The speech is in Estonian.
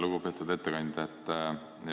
Lugupeetud ettekandja!